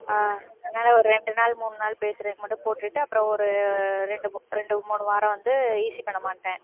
ஆஹ் அதனால ஒரு ரெண்டு நாள் மூணு நாள் பேசறதுக்கு மட்டும் போட்டுட்டு அப்புறம் ஒரு ரெண்டு மூ~ ரெண்டு மூணு வாரம் வந்து EC பண்ண மாட்டேன்